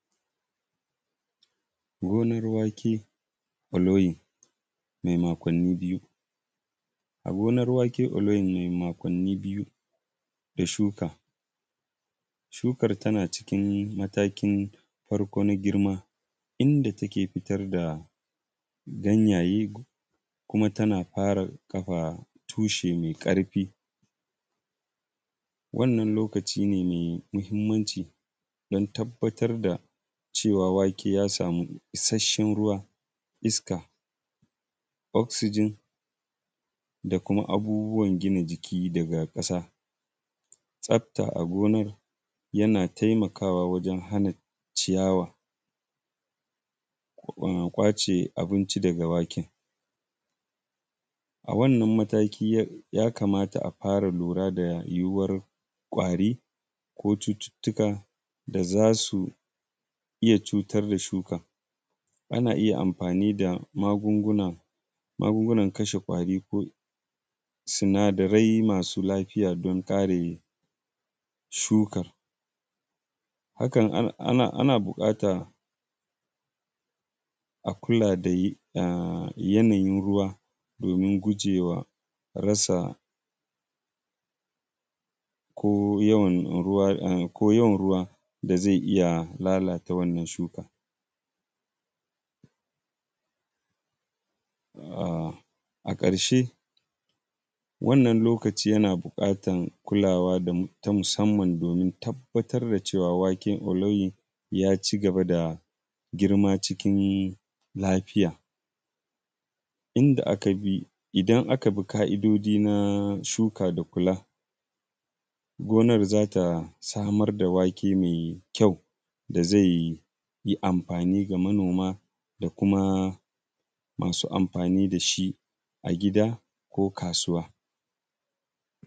Gonar wake aloyi mai makwannii biyu, a gonae wake aloyin mai makwannii biyu ya shuka, shukar tana cikin matakin farko na girma idan take fitar da ganyaye kuma tana fara kafa tushe ƙarfi. Wannan lokaci ne mai mahimmanci don tabbatar da cewa wake ya isasshen ruwa iska oxygen da kuma abubuwa gina jiki daga ƙasa. Tsafta a ginar yana taimakawa wajen hana ciyawa kwace abinci daga wake. Wannan mataki akanfara lura da yuwuwar ƙwari ko cututtuka da za su iya cutar da shuka. Ana iya amfani da magunguna kashe ƙwari ko sinadarai masu lafiya don kare shuka. Haka ana bukata a kula da yanayin ruwa domin gujewa rasa ko yawan ruwa da zai iya lalata wannan shuka. A karshe wannan lokaci yana bukatar kulawa ta musamman da nuna cewa waken aloyin ya ci gaba da girma cikin lafiya, idan aka bi ƙa'idoji na shuka da kula gonar za ta samar da wake mai ƙyau da zai yi amfani ga manoma da kuma masu amfani da shi a gida ko kasuwa.